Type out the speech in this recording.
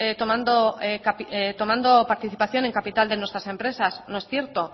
tomando participación en capital de nuestras empresas no es cierto